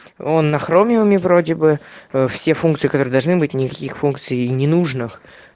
он на хромиуме вроде бы все функции которые должны быть никаких функций и ненужных